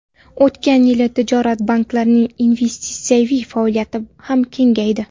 O‘tgan yili tijorat banklarining investitsiyaviy faoliyati ham kengaydi.